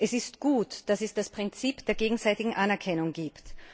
Es ist gut, dass es das Prinzip der gegenseitigen Anerkennung gibt.